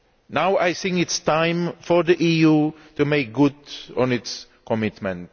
Now it is time for the EU to make good on its commitment.